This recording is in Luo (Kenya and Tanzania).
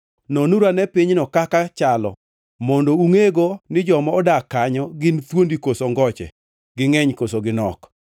Nonuru ane pinyno kaka chalo, mondo ungʼego ni joma odak kanyo gin thuondi koso ngoche, gingʼeny koso ginok?